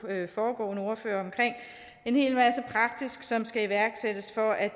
foregående ordførere som skal iværksættes for at